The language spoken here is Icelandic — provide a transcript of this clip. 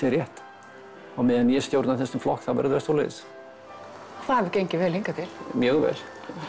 rétt á meðan ég stjórna þessum flokki þá verður það svoleiðis það hefur gengið vel hingað til mjög vel